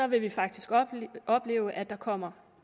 vil vi faktisk opleve at der kommer